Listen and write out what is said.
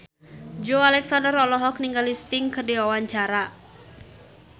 Joey Alexander olohok ningali Sting keur diwawancara